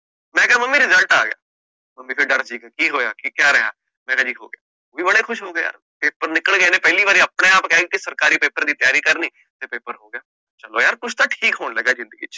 mummy result ਆ ਗਯਾ, mummy ਡਰ ਜੇ ਗਏ, ਕਿ ਹੋਇਆ ਕਿ ਕਹ ਰਿਹਾ, ਮੈਂ ਕਹ ਜੀ ਹੋ ਗਿਆ, ਤਾ ਬੜੇ ਖੁਸ਼ ਹੋਏ, ਕਿ ਪੇਪਰ ਨਿਕਲ ਗਯਾ, ਏਹਨੇ ਪਹਿਲੀ ਵਾਰ ਆਪਣੇ ਆਪ ਕਹਿਆ ਕਿ ਸਰਕਾਰੀ ਪੇਪਰ ਦੀ ਤਿਆਰੀ ਕਰਣੀ, ਮੈਂ ਕਹ ਚਲੋ ਯਾਰ ਕੁਛ ਤਾ ਠੀਕ ਹੋਣ ਲਗਾ ਜਿੰਦਗੀ ਚ